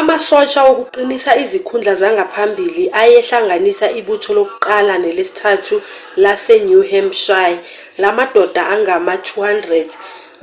amasosha wokuqinisa izikhundla zangaphambili ayehlanganisa ibutho lokuqala nelesithathu lase-new hampshire lamadoda angama-200